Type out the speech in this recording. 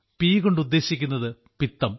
P കൊണ്ട് ഉദ്ദേശിക്കുന്നത് പിത്തം